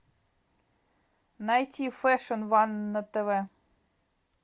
найти фэшн ван на тв